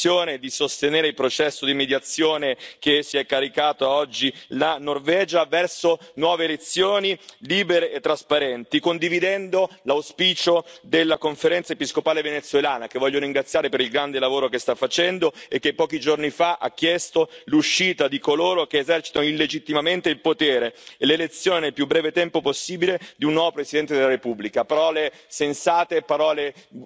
Allora noi sosteniamo gli sforzi diplomatici, chiediamo alla Commissione di sostenere il processo di mediazione che si è caricata oggi la Norvegia verso nuove elezioni libere e trasparenti, condividendo l'auspicio della Conferenza episcopale venezuelana, che voglio ringraziare per il grande lavoro che sta facendo e che pochi giorni fa ha chiesto l'uscita di coloro che esercitano illegittimamente il potere e l'elezione nel più breve tempo possibile di un nuovo presidente della Repubblica. Parole sensate, parole misurate di buon senso che devono trovare presto attuazione.